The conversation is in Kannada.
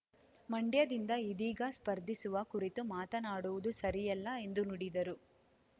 ಮಂಡ್ಯದಿಂದ ಇದೀಗ ಸ್ಪರ್ಧಿಸುವ ಕುರಿತು ಮಾತನಾಡುವುದು ಸರಿಯಲ್ಲ ಎಂದು ನುಡಿದರು